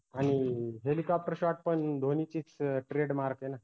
आनि helicopter shot पण धोनीचीच trademark ए ना